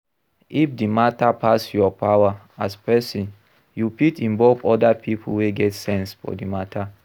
If di matter pass your power as person you fit involve oda pipo wey get sense for di matter